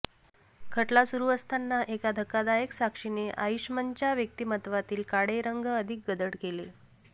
खटला सुरु असताना एका धक्कादायक साक्षीने आईशमनच्या व्यक्तिमत्वातील काळे रंग अधिक गडद केले